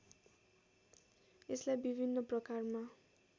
यसलाई विभिन्न प्रकारमा